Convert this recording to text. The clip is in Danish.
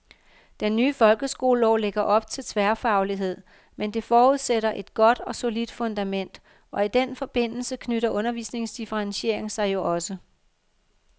Den nye folkeskolelov lægger op til tværfaglighed, men det forudsætter et godt og solidt fundament, og i den forbindelse knytter undervisningsdifferentiering sig jo også.